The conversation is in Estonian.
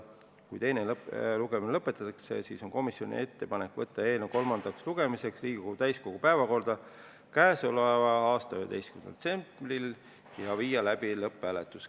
Kui teine lugemine lõpetatakse, siis on komisjoni ettepanek võtta eelnõu kolmandaks lugemiseks Riigikogu täiskogu päevakorda k.a 11. detsembril ja viia läbi lõpphääletus.